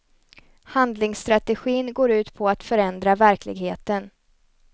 Handlingsstrategin går ut på att förändra verkligheten.